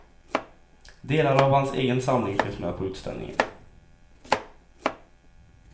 Delar av hans egen samling finns med på utställningen.